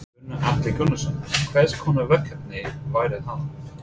Gunnar Atli Gunnarsson: Hvers konar verkefni væru það?